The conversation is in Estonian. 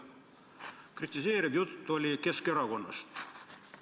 " Kritiseeriv jutt käis Keskerakonnast.